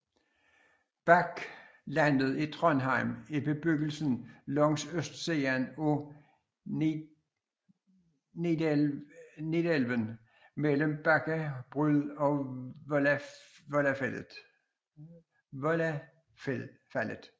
Bakklandet i Trondheim er bebyggelsen langs østsiden af Nidelven mellem Bakke bru og Vollafallet